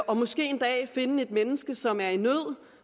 og måske en dag finde et menneske som er i nød